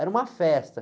Era uma festa.